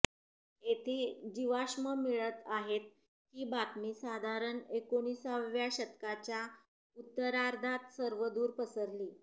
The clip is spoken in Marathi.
येथे जीवाश्म मिळत आहेत ही बातमी साधारण एकोणिसाव्या शतकाच्या उत्तरार्धात सर्वदूर पसरली